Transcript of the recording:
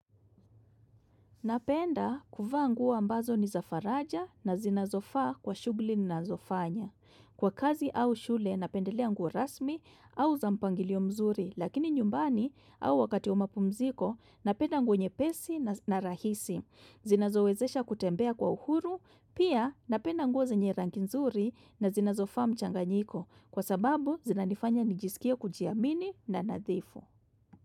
Napenda kuvaa nguo ambazo ni zafaraja na zinazofaa kwa shughuli ninazofanya. Kwa kazi au shule, napendelea nguo rasmi au za mpangilio mzuri, lakini nyumbani au wakati wamapumziko, napenda nguo nyepesi na rahisi. Zinazowezesha kutembea kwa uhuru, pia napenda nguo zenye rangi nzuri na zinazofaa mchanganyiko, kwa sababu zinanifanya nijisikie kujiamini na nadhifu.